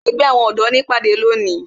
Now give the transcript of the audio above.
Ṣé ẹgbẹ́ àwọn ọ̀dọ́ ní ìpàdé lónìí?